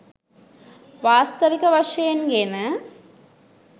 වාස්තවික වශයෙන් ගෙන